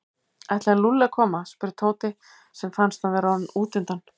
Ætlaði Lúlli að koma? spurði Tóti sem fannst hann vera orðinn útundan.